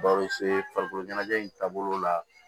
Baw farikolo ɲɛnajɛ in taabolo la